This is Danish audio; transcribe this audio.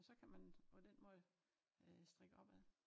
Så kan man på den måde øh strikke opad